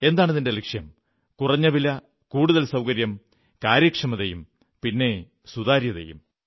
എന്താണിതിന്റെ ലക്ഷ്യം കുറഞ്ഞ വില കൂടുതൽ സൌകര്യം കാര്യക്ഷമതയും പിന്നെ സുതാര്യതയും